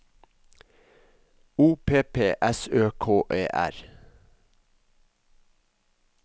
O P P S Ø K E R